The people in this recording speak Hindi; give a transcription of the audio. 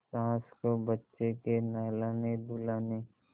सास को बच्चे के नहलानेधुलाने